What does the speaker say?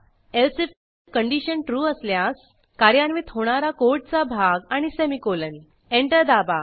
else if condition true असल्यास कार्यान्वित होणारा कोडचा भाग आणि सेमीकोलन एंटर दाबा